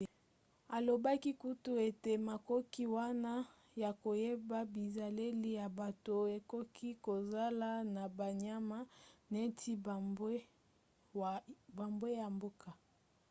alobaki kutu ete makoki wana ya koyeba bizaleli ya bato ekoki kozala na banyama neti bambwa ya mboka